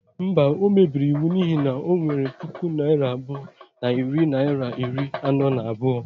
Mba, o mebiri iwu n'ihi na o nwere puku naira abụọ na narị naịra iri anọ na abụọ.